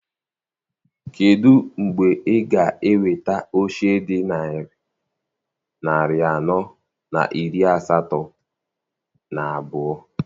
Kedụ mgbe ị ga-eweta oche dị narị anọ na iri asatọ na abụọ?